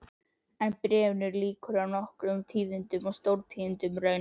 En bréfinu lýkur á nokkrum tíðindum, stórtíðindum raunar